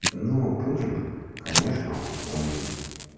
ну путин конечно он он